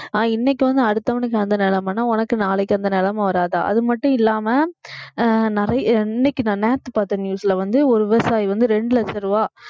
இன்னைக்கு வந்து அடுத்தவனுக்கு அந்த நிலைமைன்னா உனக்கு நாளைக்கு அந்த நிலைமை வராதா அது மட்டும் இல்லாம அஹ் நிறைய இன்னைக்கு நான் நேத்து பார்த்த news ல வந்து ஒரு விவசாயி வந்து இரண்டு லட்ச ரூபாய்